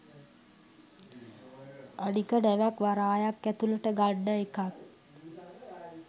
අනික ‍නැවක් වරායක් ඇතුලට ගන්න එකත්